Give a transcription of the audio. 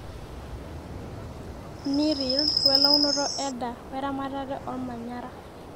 neer yield, we launoto eda weramatare olmanyara